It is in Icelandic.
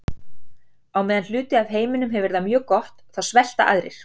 Á meðan hluti af heiminum hefur það mjög gott þá svelta aðrir.